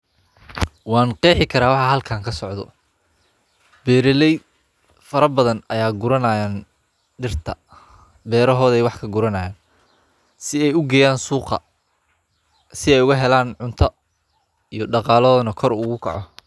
Goosashada isbinaajka waa hawl muhiim ah oo looga baahan yahay feeraha beerta si loo helo cunto caafimaad leh oo cusub. Marka caleemaha isbinaajka ay gaaraan cabirkooda ugu habboon, taas oo badanaa qaadata muddo u dhexeysa afartan maalmood kadib beerto, waxaa la bilaabaa goosashada.